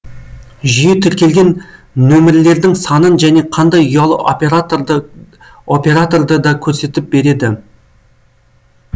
жүйе тіркелген нөмірлердің санын және қандай ұялы операторды операторды да көрсетіп береді